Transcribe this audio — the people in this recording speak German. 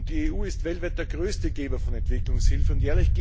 Die EU ist weltweit der größte Geber von Entwicklungshilfe.